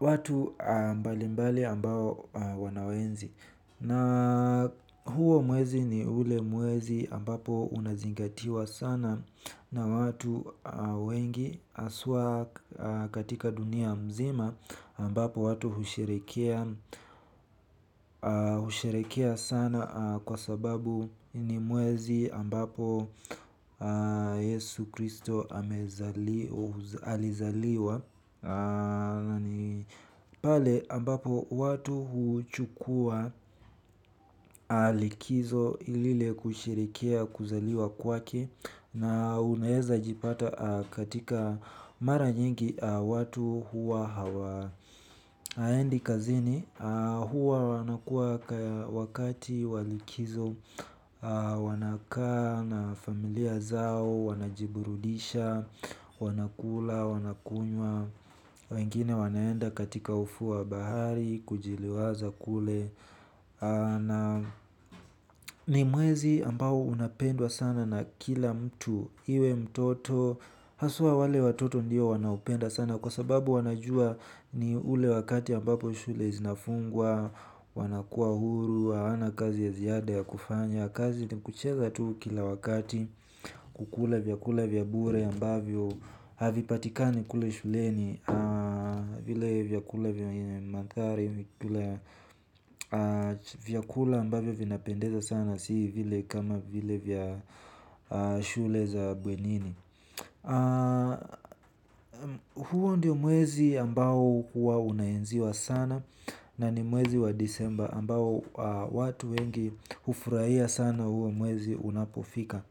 watu mbali mbali ambao wanawaenzi. Na huo mwezi ni ule mwezi ambapo unazingatiwa sana na watu wengi haswa katika dunia mzima ambapo watu husherehekea sana kwa sababu ni mwezi ambapo Yesu Kristo alizaliwa na ni pale ambapo watu huchukua likizo lile kusherehekea kuzaliwa kwake na unaweza jipata katika mara nyingi watu huwa hawaendi kazini, huwa wanakua wakati wa likizo wanakaa na familia zao, wanajiburudisha, wanakula, wanakunwya, wengine wanaenda katika ufuo wa bahari kujiliwaza kule. Na ni mwezi ambao unapendwa sana na kila mtu iwe mtoto haswa wale watoto ndio wanaupenda sana. Kwa sababu wanajua ni ule wakati ambapo shule zinafungwa. Wanakua huru, hawana kazi ya ziada ya kufanya, kazi ni kucheza tuu kila wakati. Kukula vyakul vya bure ambavyo havipatika ni kule shuleni. Vile vyakula vyenye mandhari vyakula ambavyo vinapendeza sana si vile kama vile vya shule za bwenini. Huo ndio mwezi ambao hua unaenziwa sana. Na ni mwezi wa disemba ambao watu wengi hufurahia sana huo mwezi unapofika.